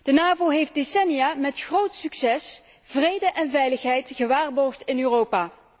De NAVO heeft decennia met groot succes vrede en veiligheid gewaarborgd in Europa.